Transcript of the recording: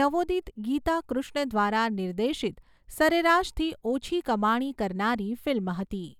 નવોદિત ગીતા કૃષ્ણ દ્વારા નિર્દેશિત સરેરાશથી ઓછી કમાણી કરનારી ફિલ્મ હતી.